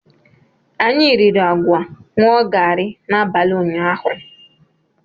Anyị riri agwa ṅụọ gari n'abalị ụnyahụ.